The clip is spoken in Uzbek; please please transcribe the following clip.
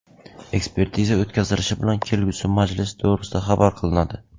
Ekspertiza o‘tkazilishi bilan kelgusi majlis to‘g‘risida xabar qilinadi.